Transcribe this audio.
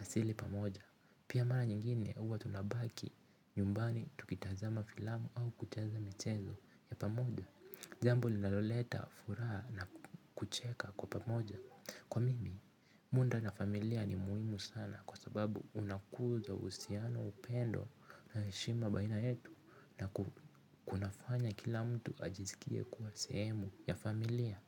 asili pamoja. Pia mara nyingine uwa tunabaki nyumbani tukitazama filamu au kucheza michezo ya pamoja. Jambo linaloleta furaha na kucheka kwa pamoja. Kwa mimi, munda na familia ni muhimu sana kwa sababu unakuza uhusiano upendo na heshima baina yetu na kunafanya kila mtu ajisikie kuwa sehemu ya familia.